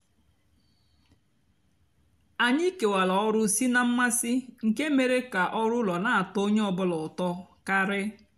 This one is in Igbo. ányị kewárá ọrụ sị ná mmasị nkè mére kà ọrụ úló nà-àtọ ónyé ọ bụlà útọ karị.